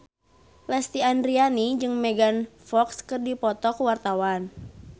Lesti Andryani jeung Megan Fox keur dipoto ku wartawan